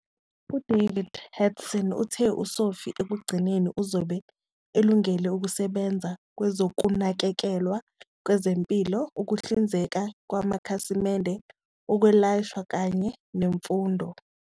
UDavid Hatson uthe uSophie ekugcineni uzobe elungele ukusebenza kwezokunakekelwa kwezempilo, ukuhlinzeka ngamakhasimende, ukwelashwa kanye nemfundo.